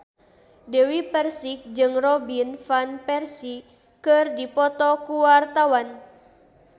Dewi Persik jeung Robin Van Persie keur dipoto ku wartawan